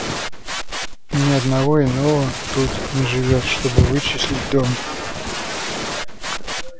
ни одного иного тут не живёт чтобы вычислить дом